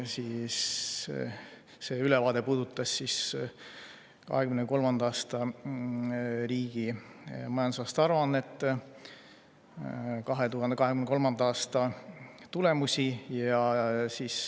Tema ülevaade puudutas riigi 2023. aasta majandusaasta aruannet, 2023. aasta tulemusi.